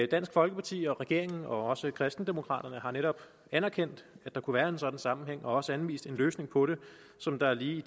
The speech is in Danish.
dansk folkeparti og regeringen og også kristendemokraterne har netop anerkendt at der kunne være en sådan sammenhæng og også anvist en løsning på den som der lige i